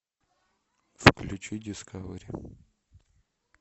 включи дискавери